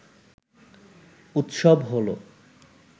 উৎসব হলো